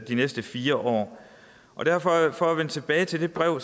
de næste fire år for at vende tilbage til det brev